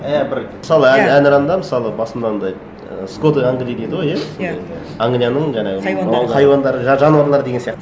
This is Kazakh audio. і бір мысалы әнұранда мысалы басында андай ы скот англии дейді ғой иә иә англияның жаңағы хайуандары хайуандары жануарлары деген сияқты